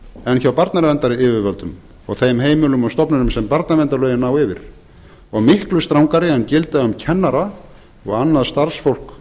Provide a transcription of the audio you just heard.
en hjá barnaverndaryfirvöldum og þeim heimilum og stofnunum sem barnaverndarlögin ná yfir og miklu strangari en gilda um kennara og annað starfsfólk